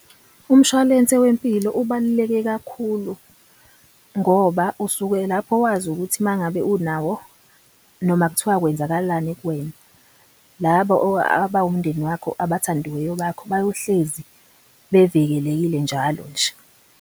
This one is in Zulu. Umshwalense wempilo ubaluleke kakhulu ngoba usuke lapho wazi ukuthi mangabe unawo noma kuthiwa kwenzakalani kuwena. Labo abawumndeni wakho abathandiweyo bakho bayohlezi bevikelekile njalo nje.